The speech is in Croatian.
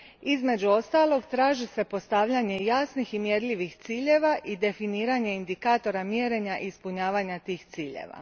Između ostalog, traži se postavljanje jasnih i mjerljivih ciljeva i definiranje indikatora mjerenja i ispunjavanja tih ciljeva.